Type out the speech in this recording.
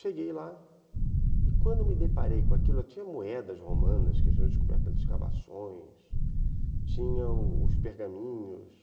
Cheguei lá e, quando me deparei com aquilo, tinha moedas romanas, que tinham descobertas de escavações, tinham os pergaminhos,